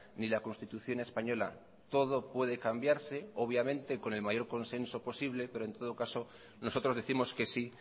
ni la constitución española todo puede cambiarse obviamente con el mayor consenso posible pero en todo caso nosotros décimos que sí